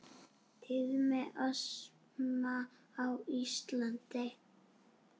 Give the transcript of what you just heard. Tíðni astma á Íslandi